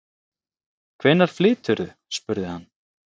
Hvenær flyturðu? spurði hann.